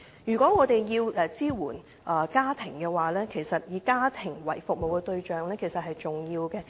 如果我們要支援家庭，其實以家庭為服務對象是重要的。